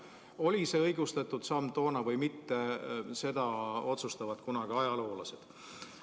Oli see õigustatud samm toona või mitte, seda otsustavad kunagi ajaloolased.